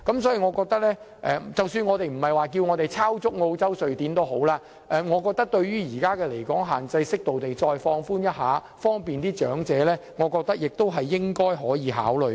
所以，即使不是抄襲澳洲、瑞典的做法，我覺得為了方便長者，適度地放寬一下現時的離港限制，亦是可以考慮的。